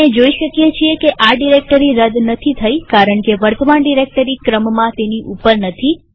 આપણે જોઈ શકીએ છીએ કે આ ડિરેક્ટરી રદ નથી થઇ કારણકે વર્તમાન ડિરેક્ટરી ક્રમમાં તેની ઉપર નથી